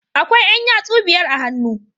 Akwai Yan yatsu biyar a hannu